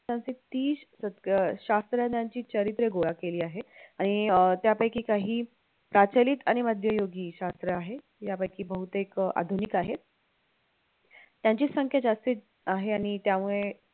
सश्त्रज्ञांची चरित्रे गोळा केली आहेत आणि अं त्यापैकी काही अं प्रचलित आणि मध्ययुगीन शास्त्र आहे यापैकी बहुतेक आधुनिक आहेत त्यांची संख्या जास्तीत आहे आणि त्यामुळे